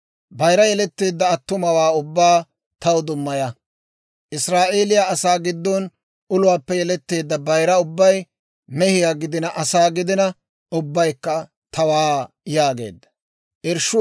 «Bayira yeletteedda attumawaa ubbaa taw dummaya. Israa'eeliyaa asaa giddon uluwaappe yeletteedda bayira ubbay, mehiyaa giddina asaa giddina, ubbaykka tawaa» yaageedda.